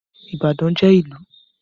Ìbàdàn jẹ́ ìlù.